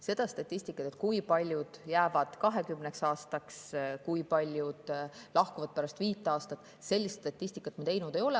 Seda statistikat, kui paljud jäävad 20 aastaks ja kui paljud lahkuvad pärast 5 aastat, me teinud ei ole.